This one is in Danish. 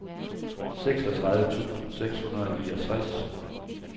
seksogtredive tusind seks hundrede og niogtres